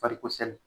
Farikosɛnɛ